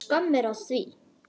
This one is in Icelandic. Skömm er að því.